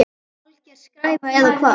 Alger skræfa eða hvað?